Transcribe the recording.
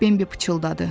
Bembi pıçıldadı.